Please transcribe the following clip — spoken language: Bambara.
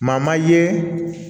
Maa ma ye